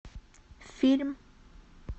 фильм